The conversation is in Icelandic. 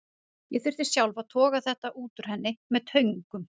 Ég þurfti sjálf að toga þetta út úr henni með töngum.